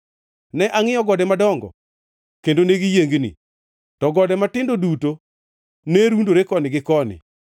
Ne angʼiyo gode madongo kendo negiyiengni, to gode matindo duto ne rundore koni gi koni.